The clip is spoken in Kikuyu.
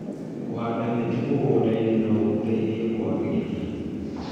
Kũhanda mĩtĩ mĩgũnda-inĩ no gũteithie kwagĩrĩrithia